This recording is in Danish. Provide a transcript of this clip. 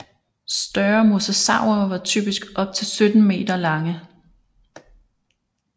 Større mosasaurer var typisk op til 17 meter lange